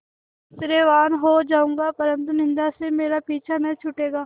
ऐश्वर्यवान् हो जाऊँगा परन्तु निन्दा से मेरा पीछा न छूटेगा